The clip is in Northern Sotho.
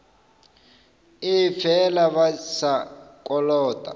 ee fela ba sa kolota